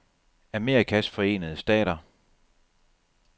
Amerikas Forenede Stater